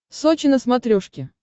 сочи на смотрешке